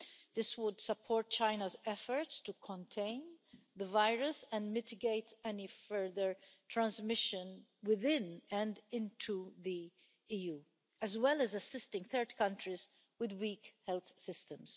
This would support China's efforts to contain the virus and mitigate any further transmission within and into the EU, as well as assisting third countries with weak health systems.